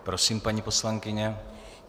Prosím, paní poslankyně.